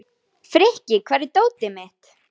Meðferð er fólgin í almennri hjúkrun.